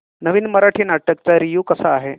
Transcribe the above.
नवीन मराठी नाटक चा रिव्यू कसा आहे